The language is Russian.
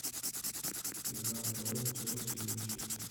игра апл челси и манчестер